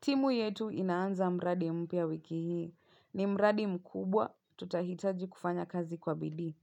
Timu yetu inaanza mradi mpya wiki hii. Ni mradi mkubwa tutahitaji kufanya kazi kwa bidii.